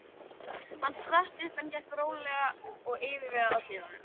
Hann spratt upp en gekk rólega og yfirvegað að dyrunum.